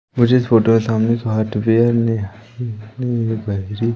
मुझे इस फोटो के सामने हार्डवेयर ह--